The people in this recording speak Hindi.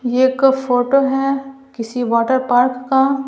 ये एक फोटो है किसी वाटर पार्क का--